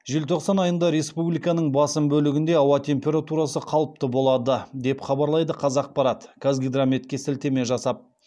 желтоқсан айында республиканың басым бөлігінде ауа температурасы қалыпты болады деп хабарлайды қазақпарат қазгидрометке сілтеме жасап